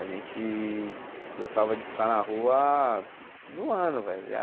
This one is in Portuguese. A gente gostava de ficar na rua zoando, velho.